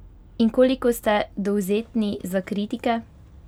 In koliko ste dovzetni za kritike?